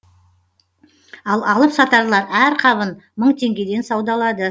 ал алып сатарлар әр қабын мың теңгеден саудалады